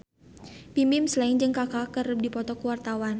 Bimbim Slank jeung Kaka keur dipoto ku wartawan